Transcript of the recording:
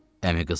Əmi qızı.